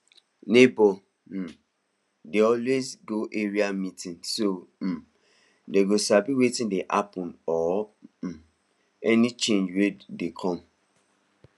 neighbours um dey always go area meeting so um dem go sabi wetin dey happen or um any change wey dey come